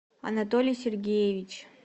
анатолий сергеевич